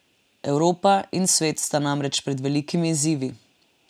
Evropa in svet sta namreč pred velikimi izzivi.